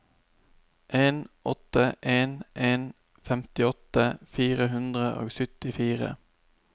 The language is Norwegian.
en åtte en en femtiåtte fire hundre og syttifire